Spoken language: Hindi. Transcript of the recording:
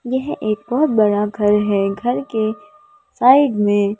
यह एक बहुत बड़ा घर है घर के साइड में--